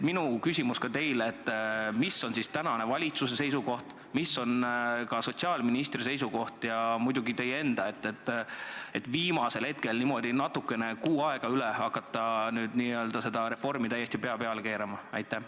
Minu küsimus teile on: mis on praegu valitsuse seisukoht, mis on sotsiaalministri seisukoht ja muidugi teie enda seisukoht, kui te viimasel hetkel, kui on natukene rohkem kui kuu aega jäänud, hakkate seda reformi täiesti pea peale keerama?